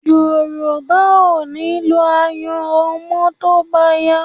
Yorùbá ò ní lo ayanran mọ́ tó bá yá